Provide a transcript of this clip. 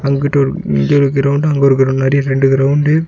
இங்கிட்டு ஒரு இங்க ஒரு கிரவுண்ட்டு அங்க ஒரு கிரவுண்ட்டு மாரி ரெண்டு கிரவுண்ட்டு .